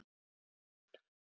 Og reif af henni kveikjarann.